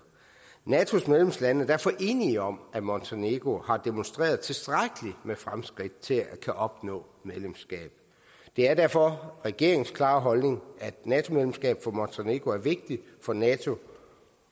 natos medlemslande er derfor enige om at montenegro har demonstreret tilstrækkeligt med fremskridt til at opnå medlemskab det er derfor regeringens klare holdning at et nato medlemskab for montenegro er vigtigt for nato